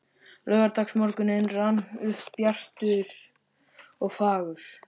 Laugardagsmorgunninn rann upp bjartur og fagur.